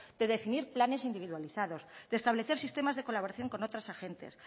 de definir planes individualizados de establecer sistemas de colaboración con otros agentes